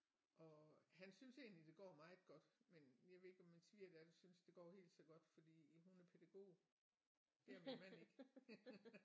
Og han synes egentlig det går meget godt men jeg ved ikke om min svigerdatter synes det går helt så godt fordi hun er pædagog det er min mand ikke